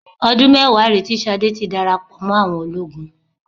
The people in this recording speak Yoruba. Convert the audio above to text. Ọdún mẹ́wàá rèé tí Ṣadé ti darapọ̀ mọ́ àwọn ológun